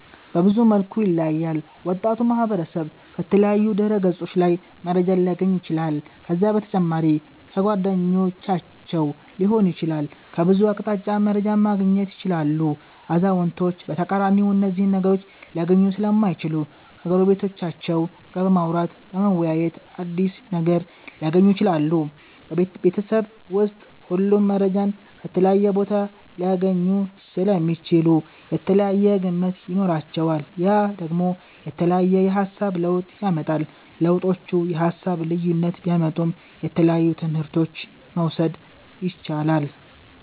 በብዙ መልኩ ይለያያል ወጣቱ ማህበረሰብ ከተለያዩ ድህረ ገፆች ላይ መረጃን ሊያገኝ ይችላል ከዛ በተጨማሪ ከጓደኞቻቸዉ ሊሆን ይችላል ከብዙ አቅጣጫ መረጃን ማገኘት ይችላሉ አዛዉነቶች በተቃራኒ እነዚህን ነገሮች ሊያገኙ ሰለማይችሉ ከጎረቤቶቻቸዉ ጋር በማዉራተ በመወያየት አዲስ ነገር ሊያገኙ ይችላሉ። ቤበተሰብ ዉስጥ ሁሉም መረጃን ከተለያየ ቦታ ሊያገኙ ሰለሚችሉ የተለያየ ግምት ይኖራቸዋል ያ ደግሞ የተለያየ የሃሳብ ለዉጥ ያመጣል። ለዉጦቹ የሃሳብ ልዩነት ቢያመጡም የተለያየ ትምህረቶችን መዉሰድ የቻላል